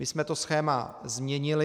My jsme to schéma změnili.